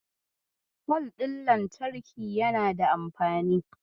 Fol ɗin lantarki yana da anfani.